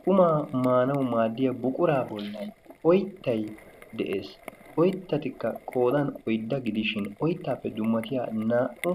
Qumaa maanawu maaddiya buquraa bollan oyttay de'ees. Oyttatikka qoodan oydda gidishin oyttaappe dummatiya naa'u